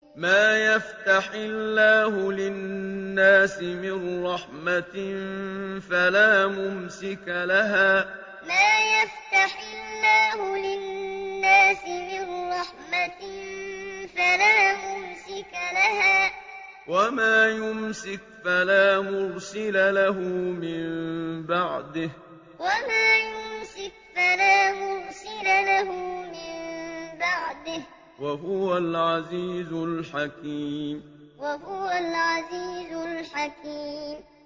مَّا يَفْتَحِ اللَّهُ لِلنَّاسِ مِن رَّحْمَةٍ فَلَا مُمْسِكَ لَهَا ۖ وَمَا يُمْسِكْ فَلَا مُرْسِلَ لَهُ مِن بَعْدِهِ ۚ وَهُوَ الْعَزِيزُ الْحَكِيمُ مَّا يَفْتَحِ اللَّهُ لِلنَّاسِ مِن رَّحْمَةٍ فَلَا مُمْسِكَ لَهَا ۖ وَمَا يُمْسِكْ فَلَا مُرْسِلَ لَهُ مِن بَعْدِهِ ۚ وَهُوَ الْعَزِيزُ الْحَكِيمُ